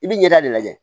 I bɛ ɲɛda de lajɛ